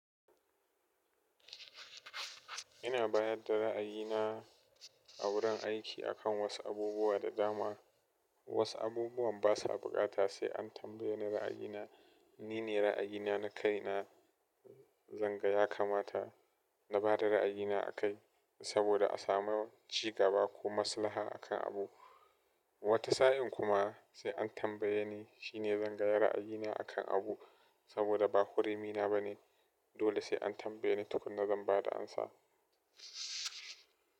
Ina bayar da ra'ayina a wurin aiki akan wasu abubuwa da dama. Wasu abubuwan basa buƙata sai an tambaye ni ra'ayina. Ni ne ra'ayina na kai na. Zanga ya kamata na ba da ra'ayina a kai saboda a samu cigaba ko maslaha akan abu. Wata sa'in kuma sai an tambaye ni shine zanga ya ra'ayina akan abu saboda ba hurimi na ba ne. Dole sai an tambaye ni tukunna zan ba da amsa.